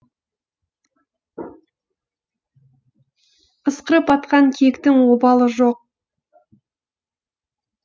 ысқырып атқан киіктің обалы жоқ